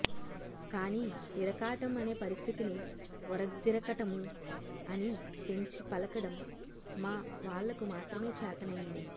కానీ ఇరకాటం అనే పరిస్థితిని ఒరధిరకటము అని పెంచి పలకడం మా వాళ్లకు మాత్రమే చేతనైంది